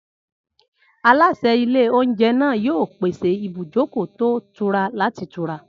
Aláṣẹ ilé-oúnjẹ náà yóò pèsè ibùjókòó tó ìtura láti tura.